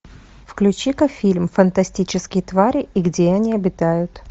включи ка фильм фантастические твари и где они обитают